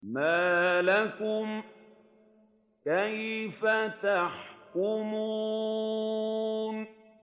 مَا لَكُمْ كَيْفَ تَحْكُمُونَ